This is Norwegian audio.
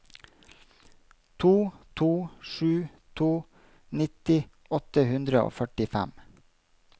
to to sju to nitti åtte hundre og førtifem